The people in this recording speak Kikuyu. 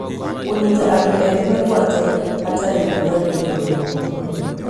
Kũnyita andũ ethĩ mĩgwate hatarĩ rũtha nĩ ũndũ mũũru mũno